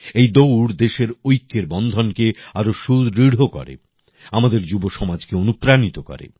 এই দৌড় দেশে ঐক্যের বন্ধন কে আরো সুদৃঢ় করে আমাদের যুবসমাজকে অনুপ্রাণিত করে